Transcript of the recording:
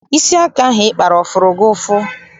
Isi aka ahụ ị kpara ọ fụrụ gị ụfụ?